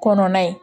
Kɔnɔna ye